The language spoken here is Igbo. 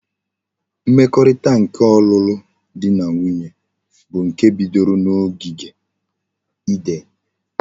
Mmekorita nke olulu di na nwunye bu nke bidoro na ogigi eden